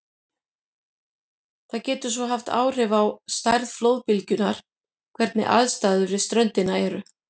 Það getur svo haft áhrif á stærð flóðbylgjunnar hvernig aðstæður við ströndina eru.